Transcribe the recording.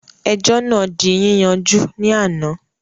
Ẹjọ́ náà ti di yíyanjú ní àná